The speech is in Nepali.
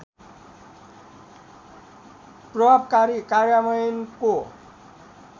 प्रभावकारी कार्यान्वयनको